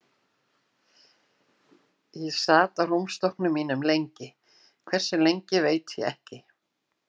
Ég sat á rúmstokknum mínum lengi, hversu lengi veit ég ekki.